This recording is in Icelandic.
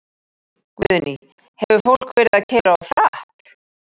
Guðný: Hefur fólk verið að keyra of hratt?